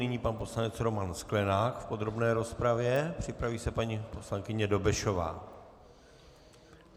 Nyní pan poslanec Roman Sklenák v podrobné rozpravě, připraví se paní poslankyně Dobešová.